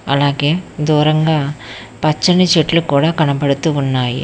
అలాగే దూరంగా పచ్చని చెట్లు కూడా కనపడుతూ ఉన్నాయి.